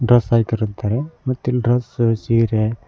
ರಸ್ ಹಾಕೈರತ್ತಾರೆ ಮತ್ ಇಲ್ ಡ್ರೆಸ್ ಸೀರೆ--